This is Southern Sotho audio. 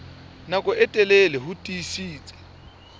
nako e telele ho tiisitse